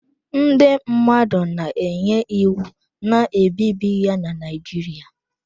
Ndị mmadụ na-enye iwu na-ebibi ya na Naijiria.